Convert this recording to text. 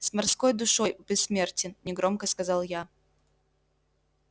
с морской душой бессмертен негромко сказал я